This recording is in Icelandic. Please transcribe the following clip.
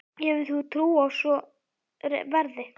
Hefur þú trú á að svo verði?